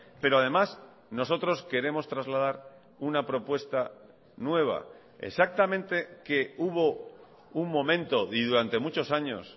pero además nosotros queremos trasladar una propuesta nueva exactamente que hubo un momento y durante muchos años